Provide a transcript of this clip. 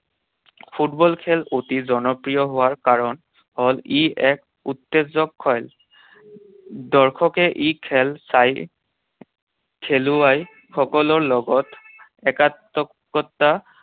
Football খেল অতি জনপ্ৰিয় হোৱাৰ কাৰণ হ'ল ই এক উত্তেজক খেল। দৰ্শকে ই খেল চাই খেলুৱৈসকলৰ লগত